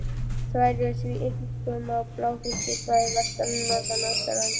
Þær eru því einkum á blágrýtissvæðunum vestan-, norðan- og austanlands.